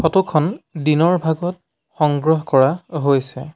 ফটোখন দিনৰ ভাগত সংগ্ৰহ কৰা হৈছে।